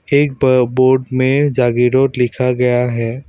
एक ब बोर्ड में जागीरोड लिखा गया है।